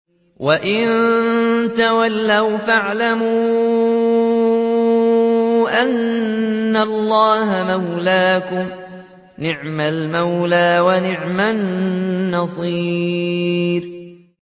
وَإِن تَوَلَّوْا فَاعْلَمُوا أَنَّ اللَّهَ مَوْلَاكُمْ ۚ نِعْمَ الْمَوْلَىٰ وَنِعْمَ النَّصِيرُ